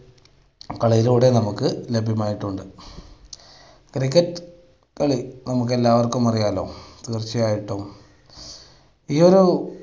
കളിയിലൂടെ നമുക്ക് ലഭ്യമായിട്ടുണ്ട്. cricket കളി നമുക്ക് എല്ലാവർക്കും അറിയാലൊ തീർച്ചയായിട്ടും ഈയൊരു